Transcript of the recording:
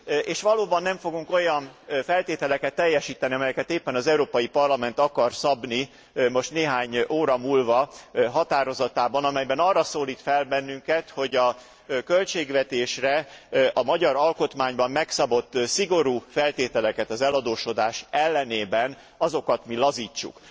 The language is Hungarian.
És valóban nem fogunk olyan feltételeket teljesíteni, amelyeket éppen az Európai Parlament akar szabni most néhány óra múlva határozatában, amelyben arra szólít fel bennünket, hogy a költségvetésre a magyar alkotmányban megszabott szigorú feltételeket az eladósodás ellenében, azokat mi lazítsuk.